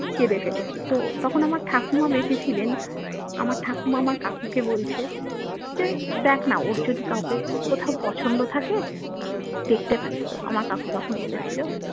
কেঁদে ফেলেছি তো তখন আমার ঠাকুমা বেঁচে ছিলেন আমার ঠাকুমা আমার কাকুকে বলছে যে দেখনা ওর যদি কাউকে কোথাও পছন্দ থাকে দেখতে পারিস তো আমার কাকু তখন বলেছিলো